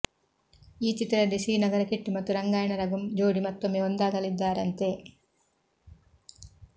ಈ ಚಿತ್ರದಲ್ಲಿ ಶ್ರೀನಗರ ಕಿಟ್ಟಿ ಮತ್ತು ರಂಗಾಯಣ ರಘು ಜೋಡಿ ಮತ್ತೊಮ್ಮೆ ಒಂದಾಗಲಿದ್ದಾರಂತೆ